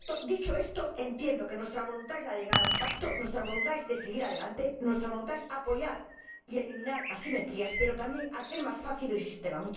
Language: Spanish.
Dicho esto, entiendo que nuestra voluntad es la de llegar a un pacto, nuestra voluntad es seguir adelante, nuestra voluntad es apoyar y eliminar asimetrías, pero también hacer más fácil el sistema.